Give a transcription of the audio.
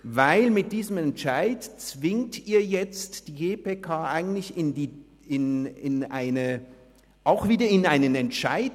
Denn mit diesem Entscheid zwingen Sie jetzt die GPK wiederum in einen Entscheid.